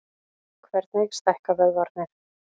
Hvernig stækka vöðvarnir?